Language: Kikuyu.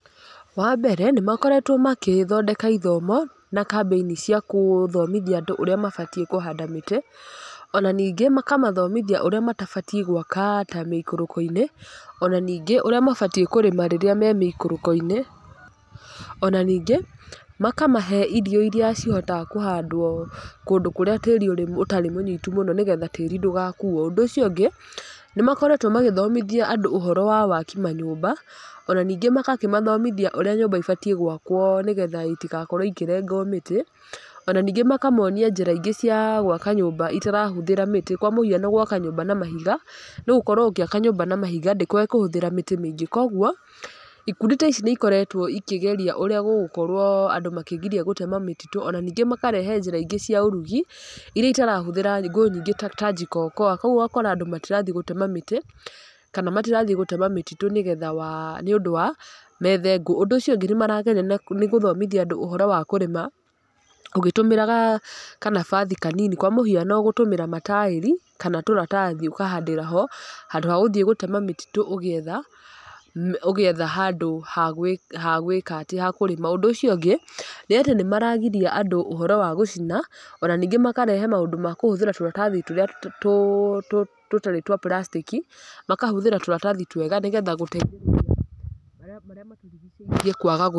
Wa mbere, nĩ makoretwo makĩthondeka ithomo, na kambĩini cia kũthomithia andũ ũrĩa mabatiĩ kũhanda mĩtĩ. Ona ningĩ, makamathomithia ũrĩa matabatiĩ gwaka ta mĩikũrũko-inĩ. Ona ningĩ ũrĩa mabatiĩ kũrĩma rĩrĩa me mĩikũrũko-inĩ. Ona ningĩ, makamahe irio irĩa cihotaga kũhandwo kũndũ kũrĩa tĩĩrĩ ũrĩ ũtarĩ mũnyitu mũno nĩgetha tĩĩri ndũgakuuo. Ũndũ ũcio ũngĩ, nĩ makoretwo magĩthomithia andũ ũhoro wa waki manyũmba. Ona ningĩ magakĩmathomithia ũrĩa nyũmba ibatiĩ gwakwo nĩgetha itigakorwo ikĩrengwo mĩtĩ. Ona ningĩ makamonia njĩra ingĩ cia gwaka nyũmba itarahũthĩra mĩtĩ. Kwa mũhiano gwaka nyũmba na mahiga, nĩ gũkorwo ũngĩkorwo ũgĩaka nyũmba na mahiga, ndĩkoragwo ĩkĩhũthĩra mĩtĩ mĩingĩ. Koguo, ikundi ta ici nĩ ikoretwo ikĩgeria ũrĩa gũgũkorwo andũ makĩgiria gũtema mĩtitũ, ona ningĩ makarehe njĩra ingĩ cia ũrugi, irĩa itarahũthĩra ngũ nyingĩ ta ta jiko okoa. Kũguo ũgakora andũ matirathi gũtema mĩtĩ, kana matirathiĩ gũtema mĩtitũ nĩgetha wa nĩ ũndũ wa, methe ngũ. Ũndũ ũcio ũngĩ nĩ marageria nĩ gũthomithia andúũũhoro wa kũrĩma ũgĩtũmĩra kanabathi kanini. Kwa mũhiano gũtũmĩra mataĩri, kana tũratathi ũkahandĩra ho, handũ ha gũthiĩ gũtema mĩtitũ ũgĩetha ũgĩetha handũ ha ha gwĩka atĩ, ha kũrĩma. Ũndúũũcio ũngĩ, nĩ atĩ nĩ maragiria andũ ũhoro wa gũcina, ona ningĩ makarehe maũndũ ma kũhũthĩra tũratathi tũrĩa tũtarĩ twa plastic, makahũthĩra tũratathi twega nĩgetha gũteithĩrĩria marĩa marĩa matũrigicĩirie kwaga gũthũka.